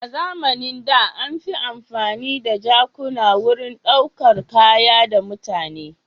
A zamanin da an fi amfani da jakuna wurin ɗaukar kaya da mutane.